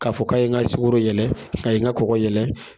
Ka fɔ ka ye n ka sukoro yɛlɛ, a ye n ka kɔkɔ yɛlɛ